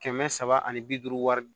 Kɛmɛ saba ani bi duuru wari